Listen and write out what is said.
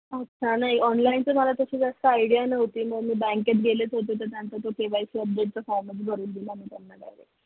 अच्छा नाही online ची मला तशी जास्त idea न्हवती मग मी बँकेत गेलेच होते तर बँकेत KYC update चा form च भरून दिला मग